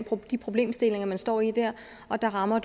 og de problemstillinger man står i der og der rammer